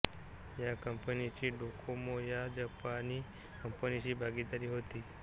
या कंपनीचीची डोकोमो या जपानी कंपनीशी भागीदारी होती